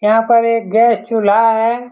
यहाँ पर एक गैस - चुल्हा है।